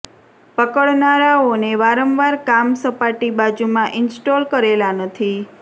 પકડનારાઓને વારંવાર કામ સપાટી બાજુ માં ઇન્સ્ટોલ કરેલા નથી